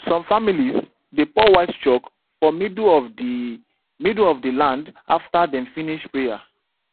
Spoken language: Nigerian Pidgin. some families dey pour white chalk for middle of the middle of the land after dem finish prayer